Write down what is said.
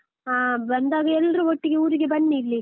ಹಾ ಬಂದಾಗ ಎಲ್ರು ಒಟ್ಟಿಗೆ ಊರಿಗೆ ಬನ್ನಿ ಇಲ್ಲಿ.